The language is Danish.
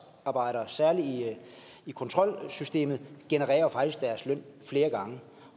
særlig i kontrolsystemet genererer jo faktisk deres løn flere gange